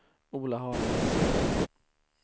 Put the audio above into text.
Ola Haraldsson